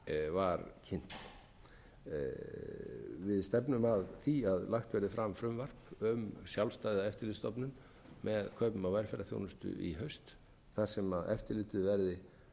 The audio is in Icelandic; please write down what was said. var kynnt við stefnum að því að lagt verði fram frumvarp um sjálfstæða eftirlitsstofnun með kaupum á velferðarþjónustu í haust þar sem eftirlitið verði